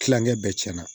Kilankɛ bɛɛ cɛn na